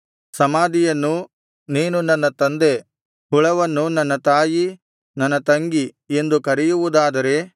ಸಮಾಧಿಯನ್ನು ನೀನು ನನ್ನ ತಂದೆ ಎಂದೂ ಹುಳವನ್ನು ನನ್ನ ತಾಯಿ ನನ್ನ ತಂಗಿ ಎಂದೂ ಕರೆಯುವುದಾದರೆ